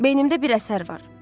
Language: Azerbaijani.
Beynimdə bir əsər var.